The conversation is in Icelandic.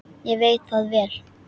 Ég veit það vel!